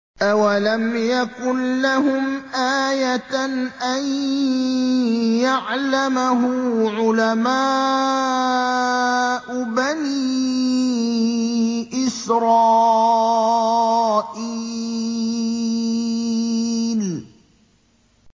أَوَلَمْ يَكُن لَّهُمْ آيَةً أَن يَعْلَمَهُ عُلَمَاءُ بَنِي إِسْرَائِيلَ